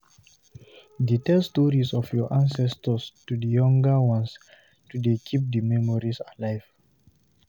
de tell stories of your ancestors to the younger ones to de keep the memories alive